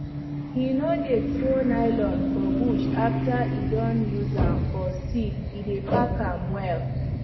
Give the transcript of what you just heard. he no dey throw nylon for bush after e don use am for seed e dey pack am well